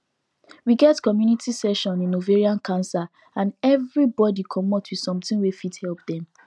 we get community session in ovarian cancer and everybody commot with something wey fit help dem